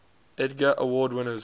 edgar award winners